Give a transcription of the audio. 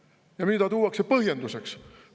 Ja mida tuuakse põhjenduseks?